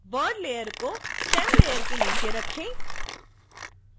bud layer को stem layer के नीचे रखें